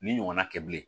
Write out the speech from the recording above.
Ni ɲɔgɔnna kɛ bilen